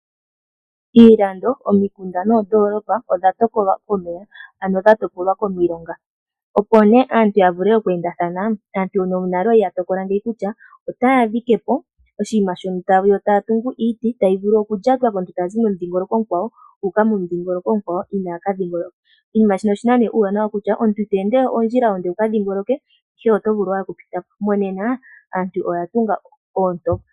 Iilando, omikunda noondolopa odha topolwa komeya ano dha topolwa komilonga, opo nee aantu ya vule oku endathana shaashi huno nale oya li ya tokola ngeyi kutya otaya dhike po oshinima shono taya tungu, iiti tayi vulu okulyatwa komuntu tazi momudhingoloko omukwawo uuka momudhingoloko omukwawo inaa ka dhingoloka. Oshinima shino oshi na nee uuwanawa kutya, omuntu ito pumbwa we wuka dhingoloke oto vulu owala oku pita po. Monena aantu oya tunga oontopa.